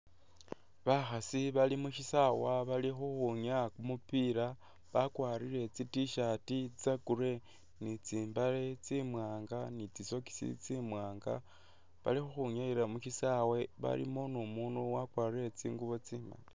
Bakhaasi bali mushisawe bali khukhunyaya kumupila bakwarire tsi tshirt tse grey ni tsimbale tsi'mwanga ni tsi socks tsi'mwanga bali khukhunyayila musisawe balimu nu umunu wakwarire tsingubo tsimali